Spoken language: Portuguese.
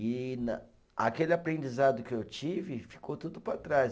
E na, aquele aprendizado que eu tive ficou tudo para trás.